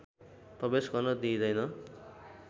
प्रवेश गर्न दिइँदैन